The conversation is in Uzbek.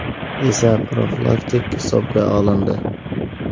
esa profilaktik hisobga olindi.